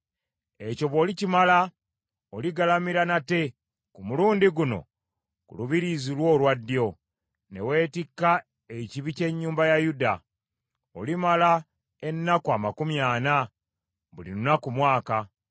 “Ekyo bw’olikimala, oligalamira nate, ku mulundi guno ku lubiriizi lwo olwa ddyo, ne weetikka ekibi ky’ennyumba ya Yuda. Olimala ennaku amakumi ana, buli lunaku mwaka.